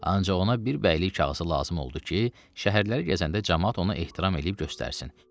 Ancaq ona bir bəylik kağızı lazım oldu ki, şəhərləri gəzəndə camaat ona ehtiram eləyib göstərsin.